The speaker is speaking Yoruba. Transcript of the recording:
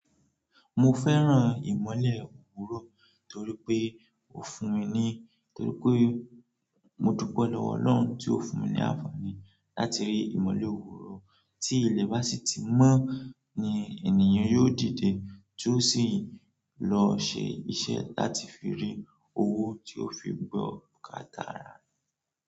Mo fẹ́ràn ìmọ̀le owurò torí pé ó fún mi ni, torí pé mo dúpẹ́ lọ́wọ́ Ọlọ́run tí ó fún mi ní àǹfààní láti rí ìmọ̀le owòórò. Tí ilé bá sì ti mọ́ ní ènìyàn yóò dìde tó sì lọ ṣe iṣẹ́ láti fi rí owó tí ó fi gbọ́ bukata.